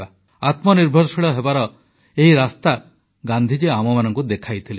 ଆତ୍ମନିର୍ଭରଶୀଳ ହେବାର ଏହି ରାସ୍ତା ଗାନ୍ଧୀଜୀ ଆମମାନଙ୍କୁ ଦେଖାଇଥିଲେ